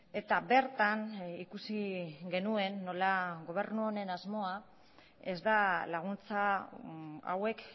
eta bertan ikusi genuen nola gobernu honen asmoa ez da laguntza hauek